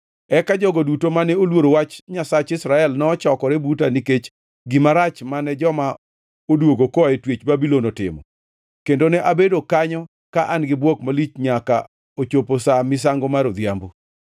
Eka jogo duto mane oluoro wach Nyasach Israel nochokore buta nikech gima rach mane joma odwogo koa e twech Babulon otimo. Kendo ne abedo kanyo ka an-gi bwok malich nyaka ochopo sa misango mar odhiambo.